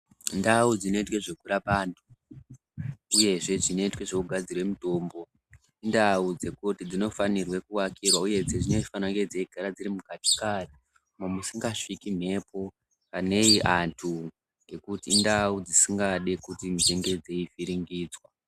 Ndau dzinoitwe zvekurape antu , uyezve dzinoitwe zvekugadzire mitombo, indau dzekuti dzinofanirwe kuakirwa uye dzinofanire kunge dzeigara dzirimukati-kati umo musingasviki mhepo nei antu ngekuti indau dzisingadi kuvhiringidzwa.